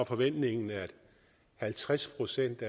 forventningen at halvtreds procent